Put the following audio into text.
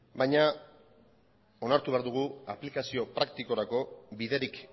baina onartu behar dugu aplikazio praktikorako biderik